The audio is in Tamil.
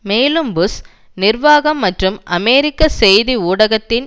மேலும் புஷ் நிர்வாகம் மற்றும் அமெரிக்க செய்தி ஊடகத்தின்